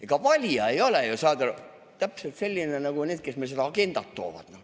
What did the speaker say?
Ega valija ei ole ju, saad aru, täpselt selline nagu need, kes meile seda agendat toovad.